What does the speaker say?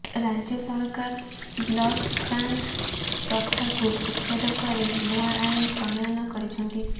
ରାଜ୍ୟ ସରକାର ବ୍ଲକଗ୍ରାଣ୍ଟ ପ୍ରଥାକୁ ଉଚ୍ଛେଦ କରି ନୂଆ ଆଇନ ପ୍ରଣୟନ କରିଛନ୍ତି